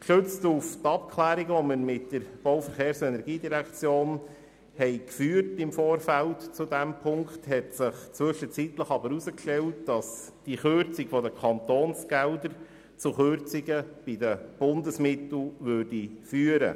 Gestützt auf die Gespräche, die wir mit der BVE im Vorfeld geführt haben, hat sich zwischenzeitlich aber herausgestellt, dass die Kürzung der Kantonsgelder zu Kürzungen der Bundesmittel führen würde.